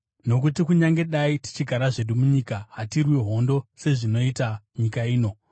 Nokuti kunyange dai tichigara zvedu munyika, hatirwi hondo sezvinoita nyika ino.